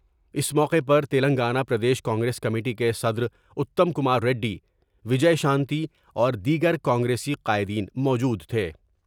اس موقع پرتلنگانہ پر دیس کانگریس کمیٹی کے صدراتم کماریڈی ، وجے شانتی اور دیگر کانگریسی قائدین موجود تھے ۔